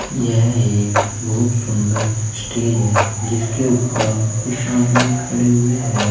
यह एक बहुत सुंदर स्टेज है जिसके ऊपर कुछ आदमी खड़े हुए हैं।